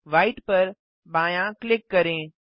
white पर बायाँ click करें